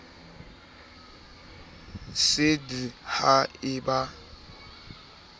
sa d ha e ba